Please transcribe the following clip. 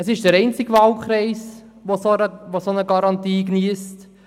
Es ist der einzige Wahlkreis, der eine solche Garantie geniesst.